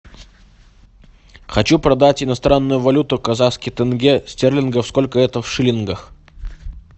хочу продать иностранную валюту казахский тенге стерлингов сколько это в шиллингах